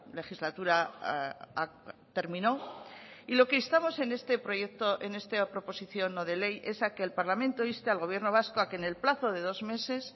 legislatura terminó y lo que instamos en este proyecto en esta proposición no de ley es a que el parlamento inste al gobierno vasco a que en el plazo de dos meses